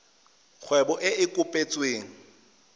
kgwebo e e kopetsweng e